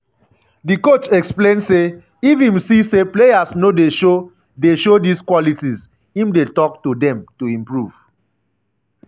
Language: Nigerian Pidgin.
di coach explain say if im see say players no dey show dey show dis qualities im dey tok to dem to improve